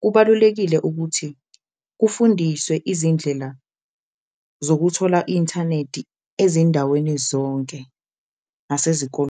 Kubalulekile ukuthi kufundiswe izindlela zokuthola i-inthaneti ezindaweni zonke nasezikoleni.